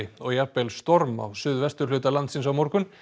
og jafnvel storm á suðvesturhluta landsins á morgun